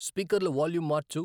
స్పీకర్ల volume March